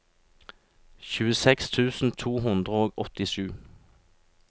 tjueseks tusen to hundre og åttisju